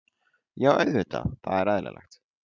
Já auðvitað, það er eðlilegt.